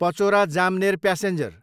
Pachora, Jamner passenger